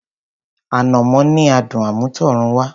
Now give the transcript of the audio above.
Ànàmọ́ ní adùn àmútọ̀runwá.